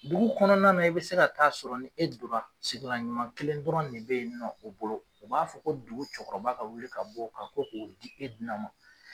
Dugu kɔnɔna na i bɛ se ka taa sɔrɔ ni e dora sigilan ɲuman kelen dɔrɔn de bɛ yen nɔ o bolo u b'a fɔ ko dugu cɛkɔrɔba ka wuli ka bɔ ko k'o di e duna ma.